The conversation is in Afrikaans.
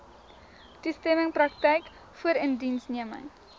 toestemming praktyk voorindiensneming